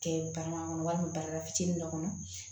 Kɛ barama kɔnɔ walima bara fitinin dɔ kɔnɔ